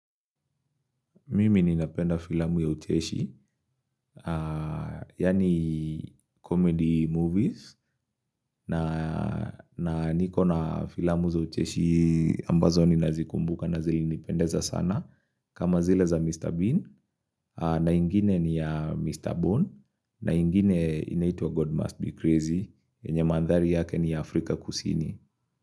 Mimi ninapenda filamu ya ucheshi, yaani comedy movies, na niko na filamu za ucheshi ambazo ninazikumbuka na zilinipendeza sana. Kama zile za Mr. Bean, na ingine ni ya Mr. Bone, na ingine inaitwa God Must Be Crazy, yenye mandhari yake ni Afrika kusini.